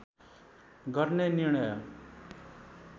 गर्ने निर्णय